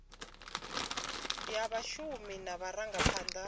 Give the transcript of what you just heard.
ya vhashumi na vhurangaphanda ha